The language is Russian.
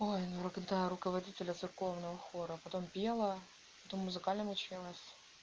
ой ну да руководителя церковного хора а потом пела потом в музыкальном училась